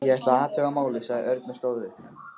Ég ætla að athuga málið, sagði Örn og stóð upp.